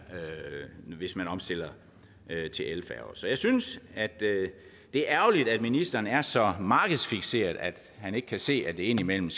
hvis man omstiller til elfærger så jeg synes at det er ærgerligt at ministeren er så markedsfikseret at han ikke kan se at det indimellem